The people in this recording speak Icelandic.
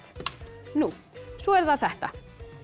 nú svo er það þetta